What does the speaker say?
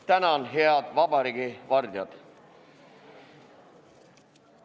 Tänan, head vabariigi vardjad!